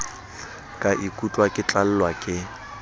ka ikutlwa ke tlalwa ke